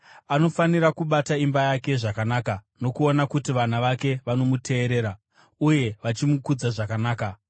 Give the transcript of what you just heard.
Anofanira kubata imba yake zvakanaka nokuona kuti vana vake vanomuteerera uye vachimukudza zvakanaka.